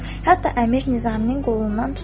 Hətta əmir Nizamini qolundan tutub dedi.